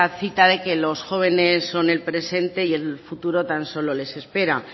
cita de que los jóvenes son el presente y el futuro tan solo les espera